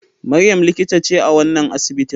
Maryam likita ce a wannan asibitin.